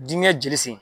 Dingɛ jeli sen